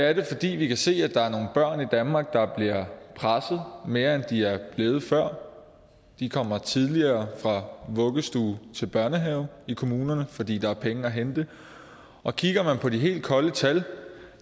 er det fordi vi kan se at der er nogle børn i danmark der bliver presset mere end de er blevet før de kommer tidligere fra vuggestue til børnehave i kommunerne fordi der er penge at hente og kigger man på de helt kolde tal